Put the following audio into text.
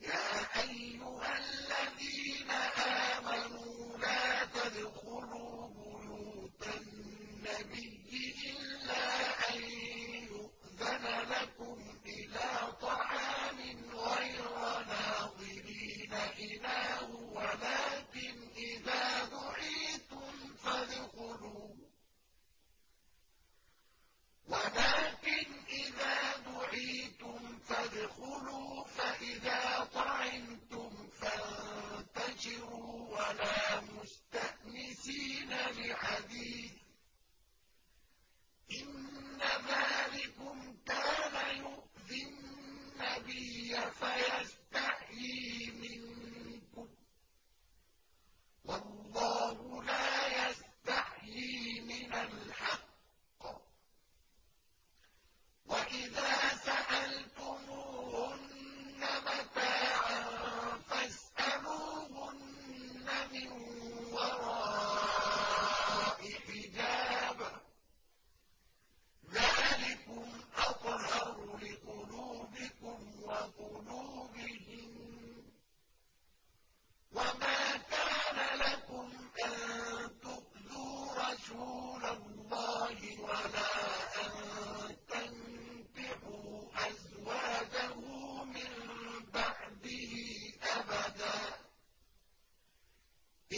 يَا أَيُّهَا الَّذِينَ آمَنُوا لَا تَدْخُلُوا بُيُوتَ النَّبِيِّ إِلَّا أَن يُؤْذَنَ لَكُمْ إِلَىٰ طَعَامٍ غَيْرَ نَاظِرِينَ إِنَاهُ وَلَٰكِنْ إِذَا دُعِيتُمْ فَادْخُلُوا فَإِذَا طَعِمْتُمْ فَانتَشِرُوا وَلَا مُسْتَأْنِسِينَ لِحَدِيثٍ ۚ إِنَّ ذَٰلِكُمْ كَانَ يُؤْذِي النَّبِيَّ فَيَسْتَحْيِي مِنكُمْ ۖ وَاللَّهُ لَا يَسْتَحْيِي مِنَ الْحَقِّ ۚ وَإِذَا سَأَلْتُمُوهُنَّ مَتَاعًا فَاسْأَلُوهُنَّ مِن وَرَاءِ حِجَابٍ ۚ ذَٰلِكُمْ أَطْهَرُ لِقُلُوبِكُمْ وَقُلُوبِهِنَّ ۚ وَمَا كَانَ لَكُمْ أَن تُؤْذُوا رَسُولَ اللَّهِ وَلَا أَن تَنكِحُوا أَزْوَاجَهُ مِن بَعْدِهِ أَبَدًا ۚ